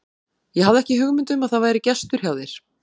Ég hafði ekki hugmynd um að það væri gestur hjá þér.